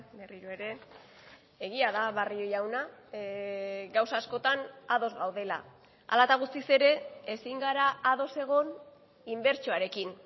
berriro ere egia da barrio jauna gauza askotan ados gaudela hala eta guztiz ere ezin gara ados egon inbertsioarekin